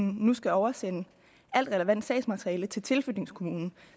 nu skal oversende alt relevant sagsmateriale til tilflytningskommunen